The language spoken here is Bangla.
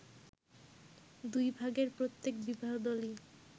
দুই ভাগের প্রত্যেক বিবাহদলই